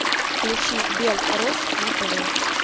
включи белрос на тв